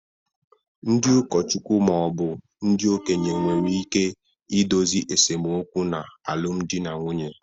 Ndị ụkọchukwu ma ọ bụ ndị okenye nwere ike idozi esemokwu n’alụmdi na nwunye